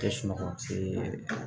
Tɛ sunɔgɔ